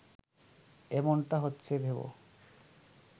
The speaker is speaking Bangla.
এমনটা হচ্ছে ভেব